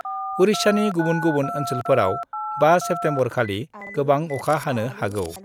उरिष्यानि गुबुन गुबुन ओन्सोलफोराव 5 सेप्तेम्बरखालि गोबां अखा हानो हागौ।